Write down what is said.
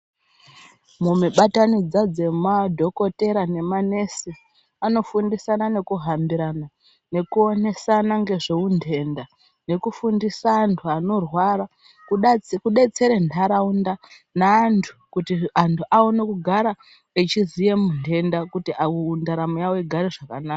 Mumibatanidza dzemadhokotera nemanesi anofundisana nekuhambirana nekuonesana nezveunhenda nekufundisa antu anorwara kudetsere ntaraunda neantu kuti antu aone kugara echiziya muntenda kuti ndaramo yawo igare zvakanaka.